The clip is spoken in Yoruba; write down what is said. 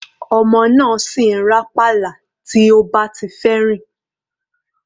Ọmọ náà sì ń rá pálá bí ó bá ti fẹ́ rìn.